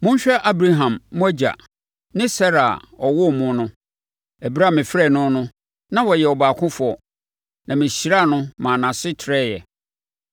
Monhwɛ Abraham mo agya, ne Sara a ɔwoo mo no. Ɛberɛ a mefrɛɛ no no, na ɔyɛ ɔbaakofoɔ, na mehyiraa no maa nʼase trɛeɛ.